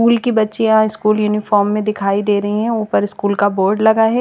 School की बच्चियाँ school uniform में दिखाई दे रही है उपर स्कूल का बोर्ड लगा है।